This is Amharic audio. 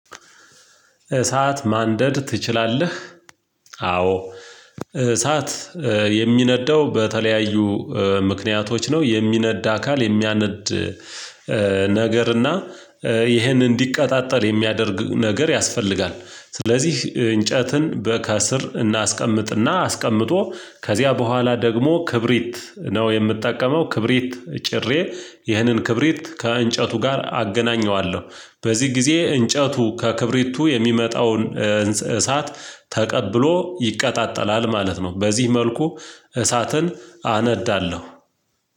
እሳት ማንደድ ትችላለህ? አዎ እሳት የሚነደው በተለያዩ ምክንያቶች ነው የሚነዳ አካል የሚያነድ ነገር እና ይሄንን እንዲቀጣጠል የሚያደርጉ ነገር ያስፈልጋል። ስለዚህ እንጨትን በከስር እናስቀምጥ እና አስቀምጦ ከዚያ በኋላ ደግሞ ክብሪት ነው የምጠቀመው ክብሪት ጭሬ ይህንን ክብሪት ከእንጨቱ ጋር አገናኘዋለሁ በዚህ ጊዜ እንጨቱ ከክብሪቱ የሚመጣውን እሳት ተቀብሎ ይቀጣጠላል ማለት ነው። በዚህ መልኩ እሳትን አነዳለሁ።